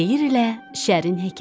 Xeyirlə şərin hekayəsi.